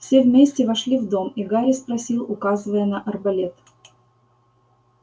все вместе вошли в дом и гарри спросил указывая на арбалет